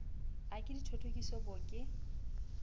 a ke dithothokiso b ke